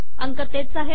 अंक तेच आहेत